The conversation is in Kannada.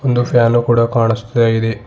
ಒಂದು ಫ್ಯಾನ್ ಕೂಡ ಕಾಣಸ್ತಾ ಇದೆ.